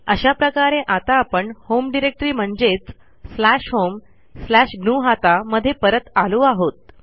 अशा प्रकारे आता आपण होम डिरेक्टरी म्हणजेच स्लॅश होम स्लॅश ग्नुहता मध्ये परत आलो आहोत